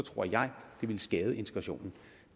ville skade integrationen